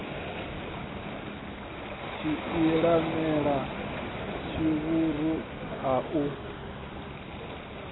tshiisimane na tshivhuru a hu